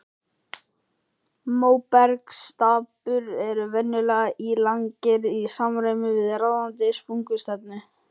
Móbergsstapar eru venjulega ílangir í samræmi við ráðandi sprungustefnu.